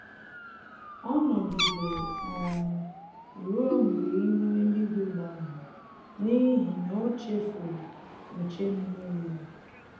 Ọ nọgidere um ruo mgbe ihu eluigwu gbanwere n'ihi na o chefuru nche mmiri ya